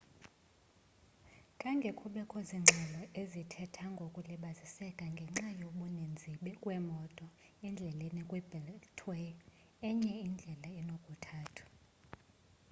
khange kubekho zingxelo ezithetha ngokulibaziseka ngenxa yokubaninzi kweemoto endleleni kwi-beltway enye indlela enokuthathwa